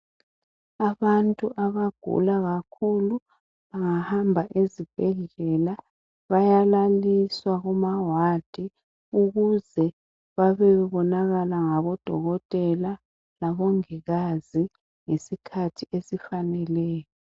Abantu abagula kakhulu bangahamba ezibhedlela. Bayalaliswa kumawadi, ukuze babe bebonwa ngamadokotela labongikazi ngesikhathi esifaneleyo.